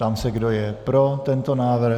Ptám se, kdo je pro tento návrh.